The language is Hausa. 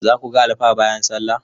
Zaku ga alfa bayan sallah?